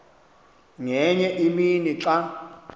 ngenye imini xa